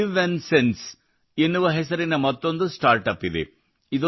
ಲಿವ್ನ್ಸೆನ್ಸ್ ಎನ್ನುವ ಹೆಸರಿನ ಮತ್ತೊಂದು ಸ್ಟಾರ್ಟ್ ಅಪ್ ಇದೆ